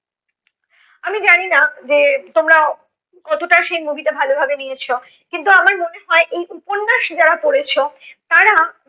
আমি জানি না যে তোমরা কতোটা সেই movie টা ভালো ভাবে নিয়েছ, কিন্তু আমার মনে হয় এই উপন্যাস যারা পড়েছো তারা